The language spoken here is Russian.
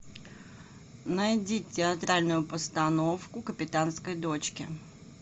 найди театральную постановку капитанской дочки